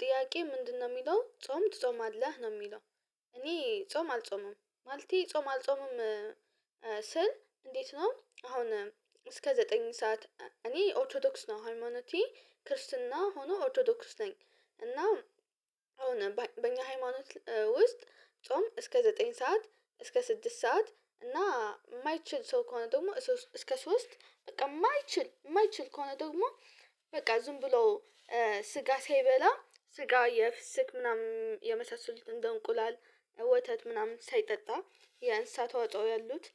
ጥያቄ ምንድነው የሚለው ጾም ትጾማለህ ነው የሚለው? እኔ ጾም አልጾምም ማለቴ ጾም አልጾምም። ስል እንዴት ነው አሁን እስከ ዘጠኝ ሰዓት እኔ ኦርቶዶክስ ነው ሃይማኖቴ ክርስትና ሆኖ ኦርቶዶክስ ነኝ። እና በኛ ሃይማኖት ውስጥ ጾም እስከ ዘጠኝ ሰዓት እስከ ስድስት ሰዓት እና የማይችል ሰው ከሆነ ደግሞ እስከ ሶስት በቃ የማይችል የማይችል ከሆነ ደግሞ በቃ ዝም ብሎ ስጋ ሳይበላ ስጋ የፍስክ ምናምን የመሳሰሉትን እንደ እንቁላል ወተት ምናምን ሳይጠጣ የእንስሳት ተዋጾ ያሉት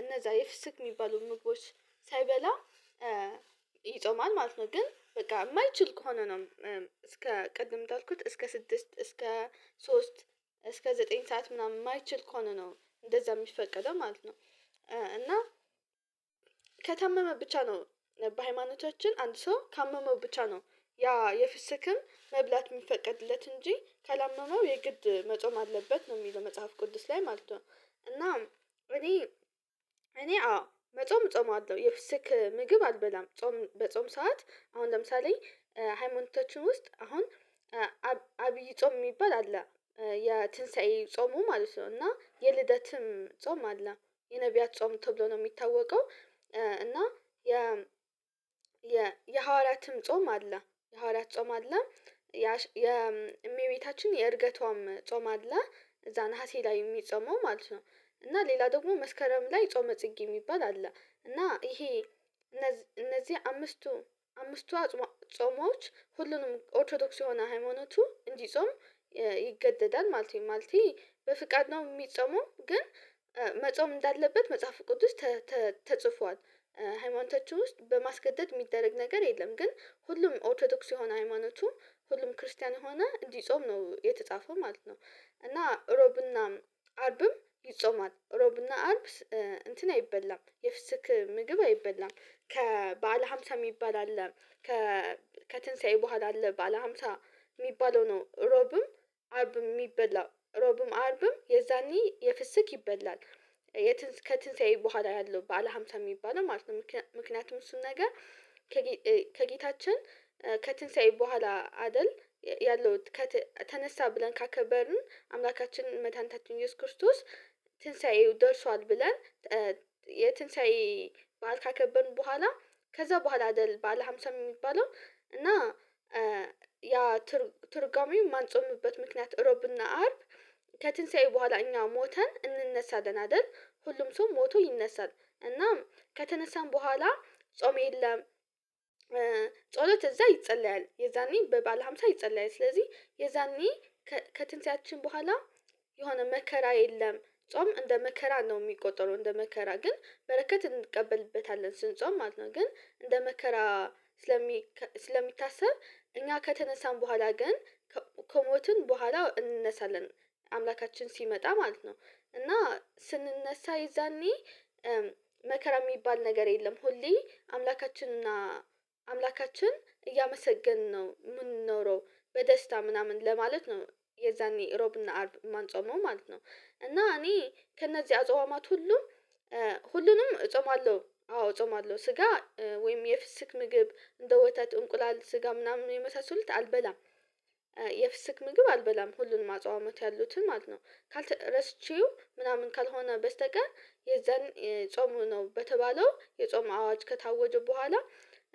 እነዛ የፍስክ የሚባሉ ምግቦች ሳይበላ ይጾማል ማለት ነው ግን በቃ የማይችል ከሆነ ነው። እስከ ቅድም የምታልኩት እስከ ስድስት እስከ ሶስት እስከ ዘጠኝ ሰዓት ምናምን የማይችል ከሆነ ነው እንደዛ የሚፈቀደው ማለት ነው። እና ከታመመ ብቻ ነው በሃይማኖቻችን አንድ ሰው ካመመው ብቻ ነው ያ የፍስክም መብላት የሚፈቀድለት እንጂ ካላመመው የግድ መጾም አለበት ነው የሚለው መጽሐፍ ቅዱስ ላይ ማለት ነው። እኔ እኔ አዎ መጾም እጾማለሁ የፍስክ ምግብ አልበላም ጾም በጾም ሰዓት አሁን ለምሳሌ ሃይማኖታችን ውስጥ አሁን አብይ ጾም የሚባል አለ የትንሳኤ ጾሙ ማለት ነው እና የልደትም ጾም አለ የነብያት ጾም ተብሎ ነው የሚታወቀው። እና የ የ የሐዋርያትም ጾም አለ የሐዋርያት ጾም አለ የእመቤታችን የእርገቷም ጾም አለ እዛ ነሀሴ ላይ የሚጾመው ማለት ነው። እና ሌላ ደግሞ መስከረም ላይ ጾመ ጽጌ የሚባል አለ እና ይሄ እነዚህ እነዚህ አምስቱ አምስቱ ጾሞች ሁሉንም ኦርቶዶክስ የሆነ ሃይማኖቱ እንዲጾም ይገደዳል ማለት ነው። ማለቴ በፍቃድ ነው የሚጾመው ግን መጾም እንዳለበት መጽሐፍ ቅዱስ ተጽፏል። ሃይማኖታችን ውስጥ በማስገደድ የሚደረግ ነገር የለም ግን ሁሉም ኦርቶዶክስ የሆነ ሃይማኖቱ ሁሉም ክርስቲያን ሆነ እንዲጾም ነው የተጻፈው ማለት ነው። እና ረቡዕና አርብም ይጾማል ረቡዕና እንትን አይበላም የፍስክ ምግብ አይበላም ከ ባዕለ ሃምሳ የሚባል አለ ከከትንሳኤ በኋላ አለ በዓለ ሃምሳ የሚባለው ነው ረቡዕም አርብም የሚበላው ረቡዕም አርብም የዛኔ የፍስክ ይበላል። ከትንሳኤ በኋላ ያለው ባዕለ ሃምሳ የሚባለው ማለት ነው። ምክንያቱም እሱን ነገር ከጌታችን ከትንሳኤ በኋላ አይደል ያለው ተነሳ ብለን ካከበርን አምላካችን መድኃኒታችን ኢየሱስ ክርስቶስ ትንሳኤው ደርሷል ብለን የትንሳኤ ባእል ካከበንን በኋላ ከዛ በኋላ አይደል ባዕለ ሃምሳ የሚባለው እና ያ ትርጉሜ የማንጾምበት ምክንያት ረቡዕና አርብ ከትንሳኤ በኋላ እኛ ሞተን እንነሳለን አይደል ሁሉም ሰው ሞቶ ይነሳል እናም ከተነሳን በኋላ ጾም የለም። ጸሎት እዛ ይጸለያል የዛኔ በባዕለ ሃምሳ ይጸለያል ስለዚህ የዛኒ ከትንሳኤያችን በኋላ የሆነ መከራ የለም ጾም እንደ መከራ ነው የሚቆጠረው እንደ መከራ ግን በረከት እንቀበልበታለን ስንጾም ማለት ነው። ግን እንደ መከራ ስለሚ ስለሚታሰብ እኛ ከተነሳን በኋላ ግን ከሞትን በኋላ እንነሳለን አምላካችን ሲመጣ ማለት ነው። እና ስንነሳ የዛኔ መከራ የሚባል ነገር የለም ሁሌ አምላካችን እና አምላካችን እያመሰገንን ነው የምንኖረው በደስታ ምናምን ለማለት ነው የዛኔ ረቡዕና አርብ የማንጾመው ማለት ነው። እና እኔ ከእነዚህ አጽዋማት ሁሉ ሁሉንም እጾማለሁ አዎ እጾማለሁ ስጋ ወይም የፍስክ ምግብ እንደ ወተት እንቁላል ስጋ ምናምን የመሳሰሉት አልበላም። የፍስክ ምግብ አልበላም ሁሉንም አጽዋማት ያሉትን ማለት ነው። ረስቼው ምናምን ካልሆነ በስተቀር የዛን ጾም ሆኖ በተባለው የጾም አዋጅ ከታወጀው በኋላ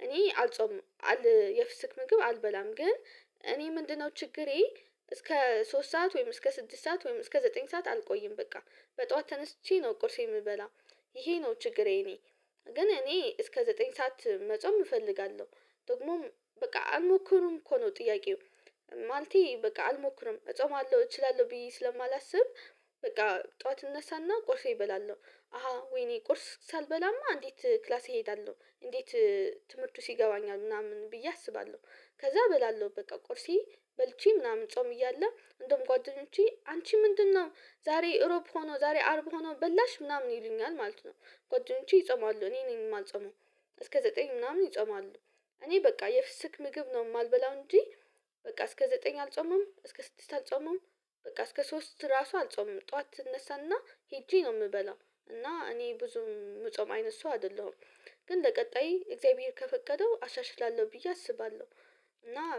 እኔ አልጾም አል የፍስክ ምግብ አልበላም ግን እኔ ምንድነው ችግሬ እስከ ሶስት ሰዓት ወይም እስከ ስድስት ሰዓት ወይም እስከ ዘጠኝ ሰዓት አልቆይም በቃ በጠዋት ተነስቼ ነው ቁርሴ የምበላ። ይሄ ነው ችግሬ እኔ ግን እኔ እስከ ዘጠኝ ሰዓት መጾም እፈልጋለሁ። ደግሞም በቃ አልሞክርም እኮ ነው ጥያቄው። ማልቴ በቃ አልሞክርም እጾማለሁ እችላለሁ ብዬ ስለማላስብ በቃ ጠዋት እነሳና ቆርሴን እበላለሁ አሃ ወይኔ ቁርስ ሳልበላማ እንዴት ክላስ እሄዳለሁ እንዴት? ትምህርቱስ ይገባኛል ምናምን ብዬ አስባለሁ። ከዛ እበላለሁ በቃ ቆርሴ በልቼ ምናምን ጾም እያለ እንደውም ጓደኞቼ አንቺ ምንድነው ዛሬ ረቡዕ ሆኖ ዛሬ አርብ ሆኖ በላሽ ምናምን ይሉኛል ማለት ነው። ጓዳኞቼ ይጾማሉ እኔ ነኝ የማልጸመው። እስከ ዘጠኝ ምናምን ይጾማሉ እኔ በቃ የፍስክ ምግብ ነው የማልበላው እንጂ በቃ እስከ ዘጠኝ አልጾምም እስከ ስድስት አልጾምም። በቃ እስከ ሶስት ራሱ አልጾምም ጠዋት እነሳና ሄጄ ነው የምበላው። እና እኔ ብዙ የምጾም አይነት ሰው አይደለሁም። ግን ለቀጣይ እግዚአብሔር ከፈቀደው አሻሽላለሁ ብዬ አስባለሁ። እና